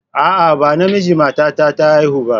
A'a, ba namiji matata ta haifa ba.